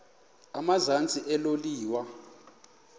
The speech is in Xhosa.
emazantsi elo liwa